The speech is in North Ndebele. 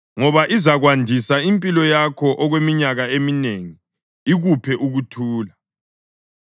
ngoba izakwandisa impilo yakho okweminyaka eminengi, ikuphe ukuthula.